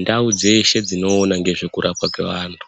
Ndau dzeshe dzinoona ngezvekurapwa kweanhu